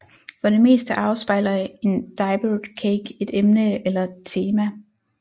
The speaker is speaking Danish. For det meste afspejler en Diaper Cake et emne eller tema